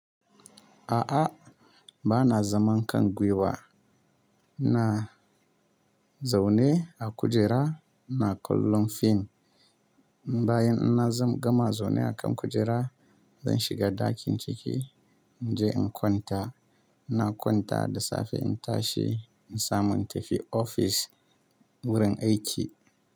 A'a, ba na zaman kan gwiwa. Na zaune a kujera, na kallon fim. Bayan ina zan gama zaune a kan kujera, zan shiga ɗakin ciki in je in kwanta. Na kwanta da safe in tashi in samu in tafi ofis wurin aiki.